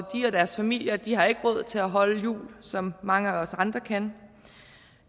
og deres familier har ikke råd til at holde jul som mange af os andre kan